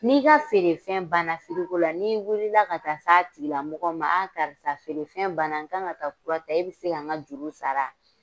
N'i ka feerefɛn banna la n'i wulila ka taa se a tigilamɔgɔ ma a karisa feerefɛn banna n kan ka taa kurata i bɛ se ka n ka juru wa?